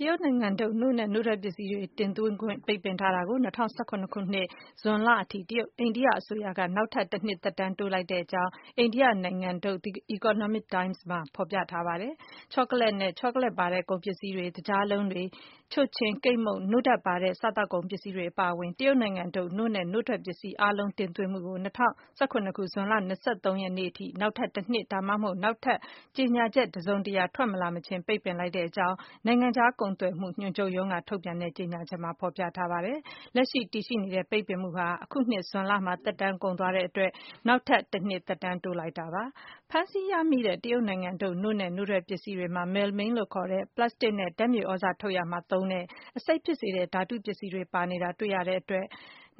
တရုတ်နိုင်ငံထုတ် နို့နဲ့ နို့ထွက်ပစ္စည်းတွေတင်သွင်းခွင့် ပိတ်ပင်ထားမှုကို ၂၀၁၇ ခုနှစ်၊ ဇွန်လအထိ အိန္ဒိယအစိုးရက နောက်ထပ် တနှစ် သက်တမ်းတိုးလိုက်ကြောင်း အိန္ဒိယနိုင်ငံထုတ် The Economic Times သတင်းမှာ ဖော်ပြထားပါတယ်။ ချောကလက်နဲ့ ချောကလက်ပါတဲ့ ကုန်ပစ္စည်းတွေ၊ သကြားလုံးတွေ၊ ချိုချဉ်၊ ကိတ် မုန့်၊ နို့ဓာတ်ပါတဲ့ စားသောက်ကုန်ပစ္စည်းတွေ အပါအဝင် တရုတ်နိုင်ငံထုတ် နို့နဲ့ နို့ ထွက်ပစ္စည်းအားလုံးတင်သွင်းမှုကို ၂၀၁၇ ခုနှစ်၊ ဇွန်လ ၂၃ ရက်နေ့အထိ နောက် ထပ် တနှစ်၊ ဒါမှမဟုတ် နောက်ထပ် ကြေညာချက်တစုံတရာ ထွက်မလာမချင်း ပိတ်ပင်လိုက်ကြောင်း နိုင်ငံခြားကုန်သွယ်မှုညွန်ချုပ်ရုံးက ကြေညာချက်မှာ ဖော်ပြထားပါတယ်။ လက်ရှိ တည်ရှိနေတဲ့ပိတ်ပင်မှုဟာ အခုနှစ် ဇွန်လမှာ သက်တမ်းကုန် သွားတဲ့အတွက် နောက်ထပ် တနှစ် သက်တမ်း ထပ်တိုးလိုက်တာ ဖြစ်ပါတယ်။ ဖမ်းဆီးရမိတဲ့တရုတ်နိုင်ငံထုတ် နို့နဲ့ နို့ထွက်ပစ္စည်းတွေမှာ Melamine (မယ်လမင်း) လို့ခေါ်တဲ့ ပလပ်စတစ်နဲ့ ဓာတ်မြေသြဇာ ထုတ်ရာမှာ သုံးတဲ့ အဆိပ်ဖြစ်စေတဲ့ ဓာတုပစ္စည်းတွေ ပါနေတာကိုတွေ့ရတာကြောင့်